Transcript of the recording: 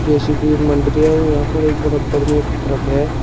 JCB यहां पे एक बरबर में एक ट्रक है।